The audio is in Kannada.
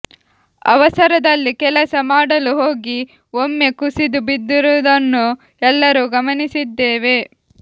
ಅವಸರದಲ್ಲಿ ಕೆಲಸ ಮಾಡಲು ಹೋಗಿ ಒಮ್ಮೆ ಕುಸಿದು ಬಿದ್ದಿರುವುದನ್ನು ಎಲ್ಲರೂ ಗಮನಿಸಿದ್ದೇವೆ